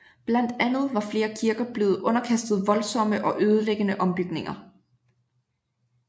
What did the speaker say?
Blandt andet var flere kirker blevet underkastet voldsomme og ødelæggende ombygninger